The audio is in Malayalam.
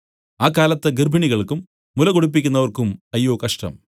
ആ കാലത്ത് ഗർഭിണികൾക്കും മുല കുടിപ്പിക്കുന്നവർക്കും അയ്യോ കഷ്ടം